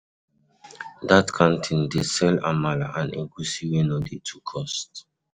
Dat canteen dey sell amala and egusi wey no dey too cost.